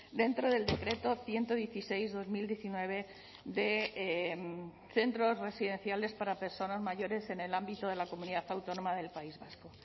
dentro del decreto ciento dieciséis barra dos mil diecinueve de centros residenciales para personas mayores en el ámbito de la comunidad autónoma del país vasco